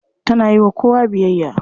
Tana yiwa kowa biyayya.